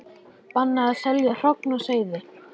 Bannað að selja hrogn og seiði